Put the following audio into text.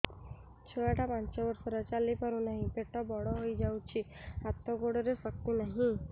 ଛୁଆଟା ପାଞ୍ଚ ବର୍ଷର ଚାଲି ପାରୁ ନାହି ପେଟ ବଡ଼ ହୋଇ ଯାଇଛି ହାତ ଗୋଡ଼ରେ ଶକ୍ତି ନାହିଁ